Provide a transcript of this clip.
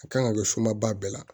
A kan ka kɛ sumaba bɛɛ la